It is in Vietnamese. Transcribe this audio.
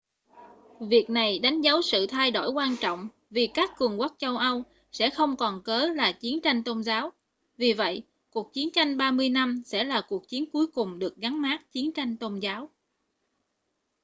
việc này đánh dấu sự thay đổi quan trọng vì các cường quốc châu âu sẽ không còn cớ là chiến tranh tôn giáo vì vậy cuộc chiến tranh ba mươi năm sẽ là cuộc chiến cuối cùng được gắn mác chiến tranh tôn giáo